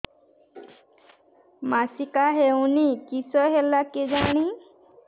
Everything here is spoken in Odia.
ମାସିକା ହଉନି କିଶ ହେଲା କେଜାଣି